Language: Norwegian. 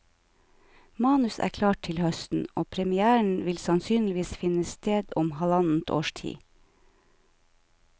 Manus er klart til høsten, og premiéren vil sannsynligvis finne sted om halvannet års tid.